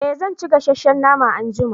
eh zan ci gasasshen nama anjima